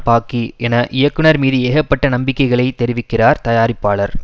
பாக்கி என இயக்குனர் மீது ஏகப்பட்ட நம்பிக்கைகளை தெரிவிக்கிறார் தயாரிப்பாளர்